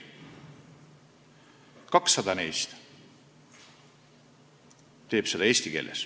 Ainult 200 neist teeb seda eesti keeles.